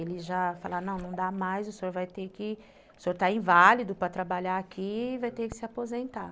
Ele já falava, não, não dá mais, o senhor vai ter que... O senhor está inválido para trabalhar aqui e vai ter que se aposentar.